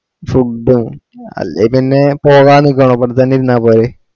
മ്മ് food ഓ അല്ലേ പിന്നെ പോകാനിക്കണോ ഇവിടെ തന്ന ഇരുന്ന പോരെ